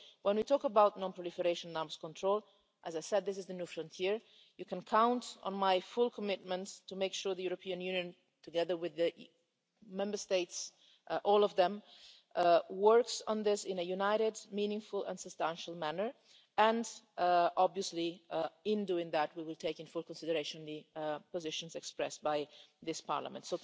So when we talk about non-proliferation and arms control as I said this is the new frontier you can count on my full commitment to make sure the European Union, together with the Member States, all of them, works on this in a united, meaningful and substantial manner and, obviously, in doing that we will take into full consideration the positions expressed by this Parliament.